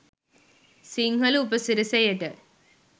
සිංහල උපසිරැසියට.